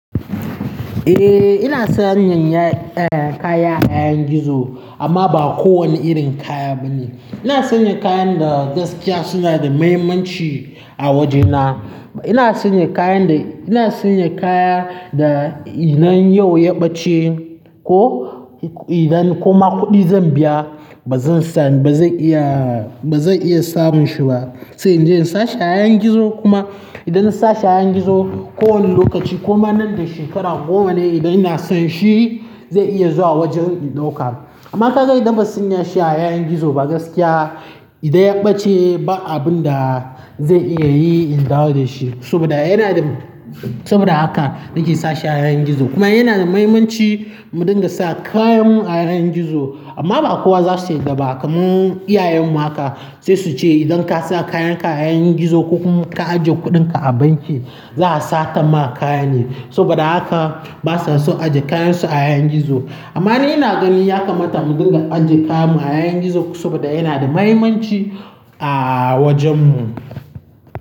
Eh, ina sanya kaya a yayin gizo amma ba kowane irin kaya bane. Ina sanya kayan da gaskiya suna da mahimmanci a wajena. Ina sanya kayan da, ina sanya kaya da idan yau ya ɓace ko idan kuma kuɗi zan biya ba zan san, ba zan iya, ba zan iya samun shi ba. Sai in je in sa shi a yayin gizo kuma idan na sa shi a yanan gizo kowane lokaci kuma nan da shekaru goma ne idan ina son shi zai iya zuwa wajeni loka. Amma ka ga idan ba mu sanya shi a yanan gizo ba gaskiya idan ya ɓace ba abun da zan iya yi in dawo da shi saboda yana da, saboda haka nake sa shi a yanan gizo kuma yana da muhimmanci mu dinga sa kayan mu a yanan gizo amma ba kowa za su yi dabba kaman iyayen mu haka sai su ce idan ka sa kayanka a yayin gizo ko kuma ka ajiye kuɗinka a banki za a sata ma kaya ne saboda haka ba sa so ajiye kayansu a yanan gizo. Amma dai ina gani ya kamata mu dinga ajiye kayan mu a yayin gizo saboda yana da mahimmanci a wajen mu.